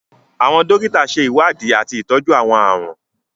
Àwọn dòkíta ṣe iwdíì atí ìtọju àwọn ààrùn.